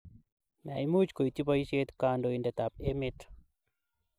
Miamuch koityi poisheet kandoindetap emeet